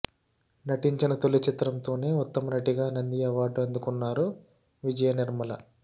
నటించిన తొలి చిత్రంతోనే ఉత్తమ నటిగా నంది అవార్డు అందుకున్నారు విజయ నిర్మల